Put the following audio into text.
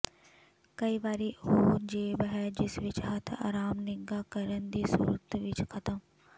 ਕਈ ਵਾਰੀ ਉਹ ਜੇਬ ਹੈ ਜਿਸ ਵਿੱਚ ਹੱਥ ਅਰਾਮ ਨਿੱਘਾ ਕਰਨ ਦੀ ਸੂਰਤ ਵਿੱਚ ਖਤਮ